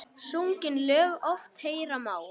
Sungin lög oft heyra má.